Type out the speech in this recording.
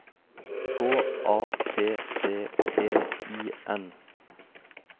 K A P T E I N